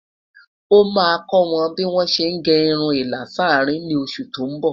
ọ má kò wọn bí wón sé gé irún ìlà s'arin ní oṣù tó n bó